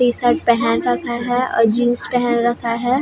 T-shirt पहन रखा है और जीन्स पहन रखा है ।